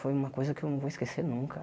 Foi uma coisa que eu não vou esquecer nunca.